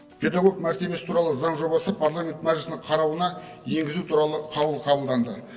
педагог мәртебесі туралы заң жобасы парламент мәжілісінің қарауына енгізу туралы қаулы қабылданды